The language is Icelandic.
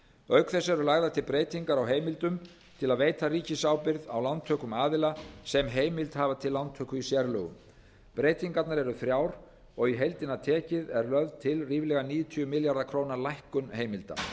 auk þess eru lagðar til breytingar á heimildum til að veita ríkisábyrgð á lántökum aðila sem heimild hafa til lántöku í sérlögum breytingarnar eru þrjár og í heildina tekið er lögð til ríflega níutíu milljarða króna lækkun heimilda